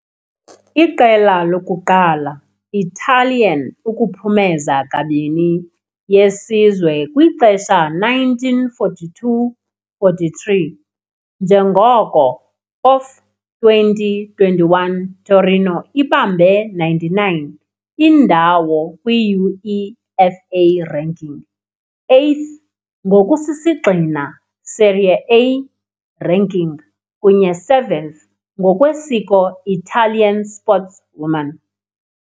Iqela lokuqala Italian ukuphumeza "kabini" yesizwe kwixesha 1942-43, njengoko of 2021 Torino ibambe 99 indawo kwi UEFA ranking, 8th ngokusisigxina Serie A ranking kunye 7th ngokwesiko Italian sportswoman.